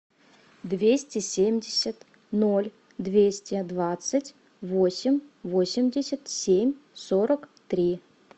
двести семьдесят ноль двести двадцать восемь восемьдесят семь сорок три